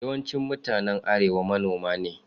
Yawancin mutanen arewa manoma ne.